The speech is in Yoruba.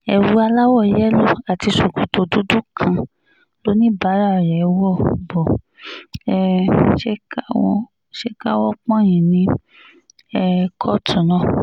ewu aláwọ̀ yẹ́lò àti ṣòkòtò dúdú kan lọ́níbàárà rẹ̀ wo bó um ṣe káwọ́ pọ̀nyìn ní um kóòtù náà